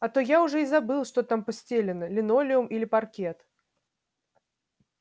а то я уже и забыл что там постелено линолеум или паркет